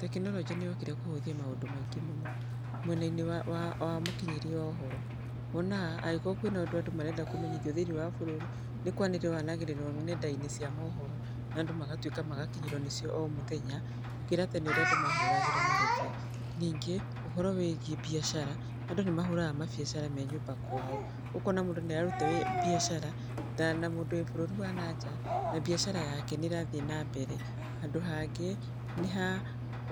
Tekinoronjĩ nĩyokire kũhũthia maũndũ maingĩ mũno, mwena-inĩ wa mũkinyĩrie wa ũhoro. Wonaga angĩkorũo kwĩna ũndũ andũ marenda kũmenyithio thĩiniĩ wa bũrũri, nĩ kwanĩríĩwo wanagĩrĩrũo nenda-inĩ cia mohoro na andũ magatuĩka magakinyĩrũo nĩcio o mũthenya, gũkĩra tene ũrĩa andũ mahũragĩrwo marebe. Ningĩ ũhoro wĩgiĩ mbiacara, andũ nĩ mahũraga mabiacara me nyũmba kwao. Ũkona mũndũ nĩ arũta mbiacara na mũndũ wĩ bũrũri wa nanja na mbiacara yake nĩ ĩrathiĩ nambere. Handũ hangĩ nĩ ha